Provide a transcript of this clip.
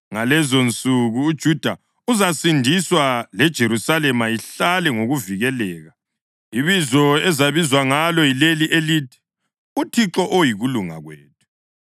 Ngalezonsuku uJuda uzasindiswa leJerusalema ihlale ngokuvikeleka. Ibizo ezabizwa ngalo yileli elithi; uThixo oyikuLunga Kwethu.’